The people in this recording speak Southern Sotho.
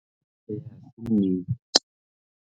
Eya, ha se nnete .